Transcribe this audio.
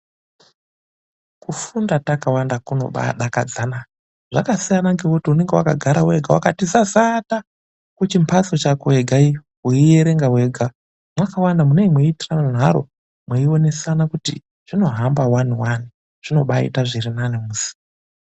Kufunda takawanda kunobadakadzana .Zvakasiyana ngekuti unenge wakagara wega wakati zazata muchimbatso chako wega iyo, weierenga wega. Mwakawanda munee mweitisane nharo, mweionesana kuti zvinohamba wani wani . Zvinobaaita zvirinani musi..